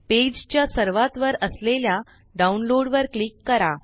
page च्या सर्वात वर असलेल्या डाउनलोड वर क्लिक करा